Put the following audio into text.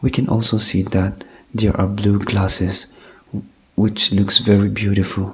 we can also see that there are blue glasses which looks very beautiful.